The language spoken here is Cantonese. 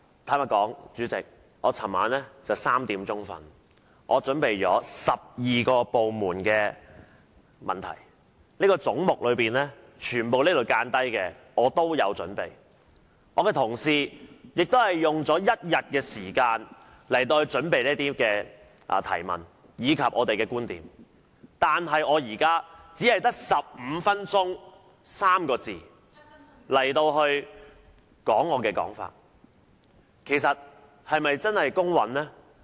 主席，老實說，我昨晚直至凌晨3時才睡覺，因為我為12個部門準備了很多問題，包括所有這裏有標示的總目，而我的同事也花了1天時間準備提出不同的問題和表達觀點，但我現在卻只有15分鐘發言時間表達我的想法，這個安排是否公平呢？